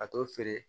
A t'o feere